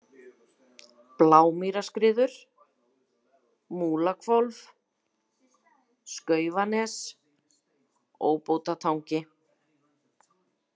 Blámýrarskriður, Múlahvolf, Skaufanes, Óbótatangi